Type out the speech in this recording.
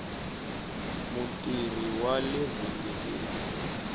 mutirhi wale vhengeleni